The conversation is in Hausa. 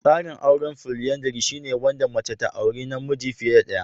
Tsarin aure na folyandry shine wanda mace ta auri namiji fiye da ɗaya.